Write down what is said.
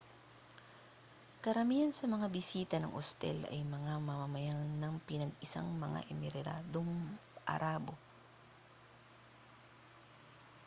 karamihan sa mga bisita ng ostel ay mga mamamayan ng pinag-isang mga emiradong arabo